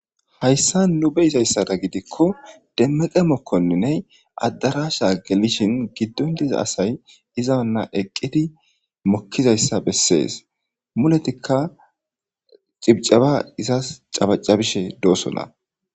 hayssa nu be izayssada gidikko demmeqe mokkonninne addarasha gelishin giddon diza asay izanna eqqidi mokkizayssa bessees muletikka cibcaba izas cabacabishe doosona